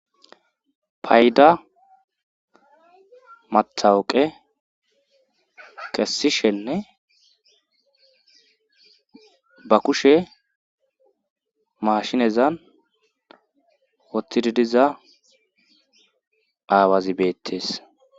Payda mathawoqe kessishenne ba kushe mashinezan wottididiza aawazi beettees